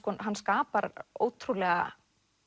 hann skapar ótrúlega